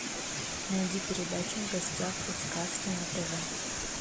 найди передачу в гостях у сказки на тв